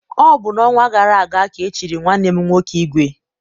Ọ bụ n'ọnwa gara aga ka e chiri nwanne m nwoke ìgwè.